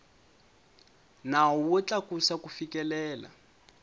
nawu wo tlakusa ku fikelela